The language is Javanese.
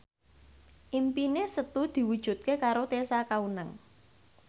impine Setu diwujudke karo Tessa Kaunang